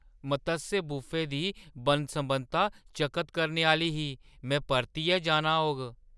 मत्स्य buffet दी बन्न-सबन्नता चकत करने आह्‌ली ही! मैं परतियै जाना होग।